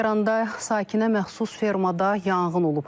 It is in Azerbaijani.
Lənkəranda sakinə məxsus fermada yanğın olub.